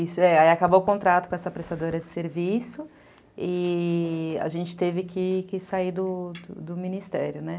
Isso, é. Aí acabou o contrato com essa prestadora de serviço e a gente teve que sair do ministério, né?